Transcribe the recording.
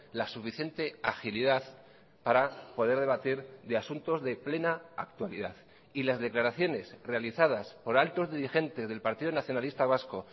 la suficiente agilidad para poder debatir de asuntos de plena actualidad y las declaraciones realizadas por altos dirigentes del partido nacionalista vasco